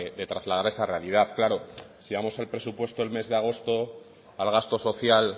de trasladar esa realidad claro si vamos al presupuesto del mes de agosto al gasto social